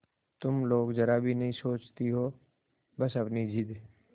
तुम लोग जरा भी नहीं सोचती हो बस अपनी जिद